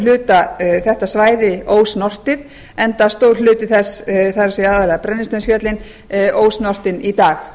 hluta þetta svæði ósnortið enda stór hluti þess það er aðallega brennisteinsfjöllin ósnortin í dag